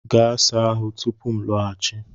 Gaa saa ahụ tupu m laghachi!